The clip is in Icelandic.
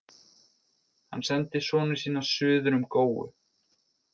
Hann sendi sonu sína suður um góu.